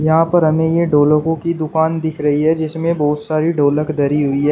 यहां पर हमें यह ढोलकों की दुकान दिख रही है जिसमें बहुत सारी ढोलक धरी हुई है।